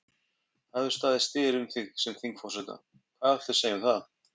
Þóra: Það hefur staðið styr um þig sem þingforseta, hvað viltu segja um það?